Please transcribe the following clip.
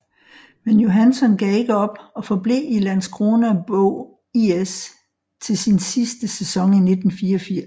Men Johansson gav ikke op og forblev i Landskrona BoIS til sin sidste sæson i 1984